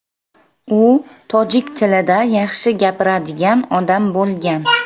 U tojik tilida yaxshi gapiradigan odam bo‘lgan.